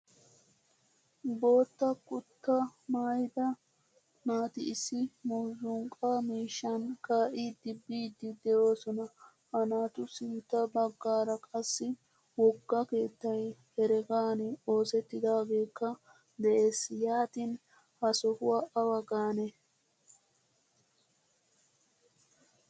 Boottaa kuta maayida naati issi muuzzuqqa miishshan ka'idi biidi deosona. Ha naatu sintta baggaara qassi wogga keettay heeregan oosettidagekka de'ees. Yaatin ha sohuwaa awa gaanee?